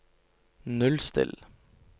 nullstill